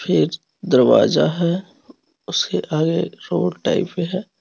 एक दरवाजा है उसके आगे रोड टाइप में है।